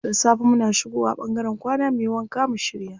Da safe muna shigo wa ɓangaren kwana muyi wanka mu shirya.